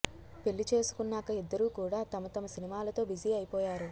పెళ్లి చేసుకున్నాక ఇద్దరు కూడా తమ తమ సినిమాలతో బిజీ అయిపోయారు